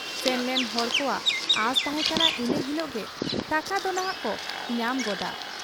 ᱥᱮᱱᱞᱮᱱ ᱦᱚᱲ ᱠᱚᱣᱟᱜ ᱟᱸᱥ ᱛᱟᱦᱮᱸ ᱠᱟᱱᱟ ᱤᱱᱟᱹ ᱦᱤᱞᱚᱜ ᱜᱮ ᱴᱟᱠᱟ ᱫᱚᱱᱷᱟᱜ ᱠᱚ ᱧᱟᱢ ᱜᱚᱫᱟ ᱾